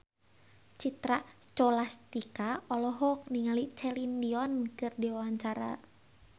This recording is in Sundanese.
Citra Scholastika olohok ningali Celine Dion keur diwawancara